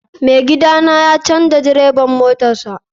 Mai gida na ya canza direban motarsa.